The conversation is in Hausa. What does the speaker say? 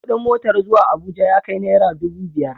Kuɗin motar zuwa Abuja ya kai nara dubu biyar.